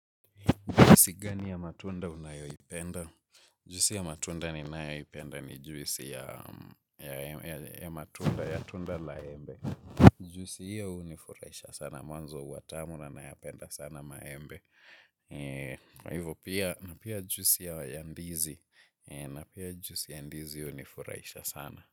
Juisi gani ya matunda unayoipenda? Juisi ya matunda ninayoipenda ni juisi ya matunda, ya tunda la embe. Juisi hiyo hunifuraisha sana, mwanzo huwa tamu na nayapenda sana maembe. Kwa hivo pia, na pia juisi ya ndizi, na pia juisi ya ndizi hunifuraisha sana.